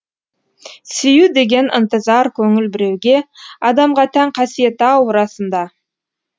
сүю деген ынтызар көңіл біреуге адамға тән қасиет ау расында